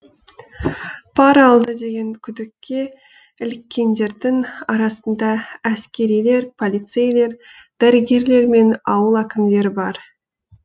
пара алды деген күдікке іліккендердің арасында әскерилер полицейлер дәрігерлер мен ауыл әкімдері бар